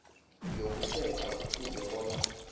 yokusetjha kufuze bona